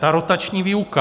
Ta rotační výuka.